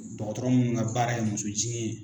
Dɔgɔtɔrɔ minnu ka baara ye musojigin ye